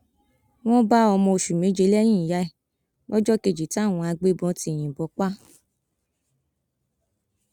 wọn bá ọmọ oṣù méje lẹyìn ìyá ẹ lọjọ kejì táwọn agbébọn ti yìnbọn pa á